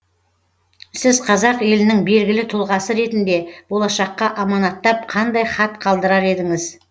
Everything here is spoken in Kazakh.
сіз қазақ елінің белгілі тұлғасы ретінде болашаққа аманаттап қандай хат қалдырар едіңіз